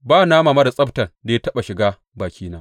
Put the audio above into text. Ba nama marar tsabtan da ya taɓa shiga bakina.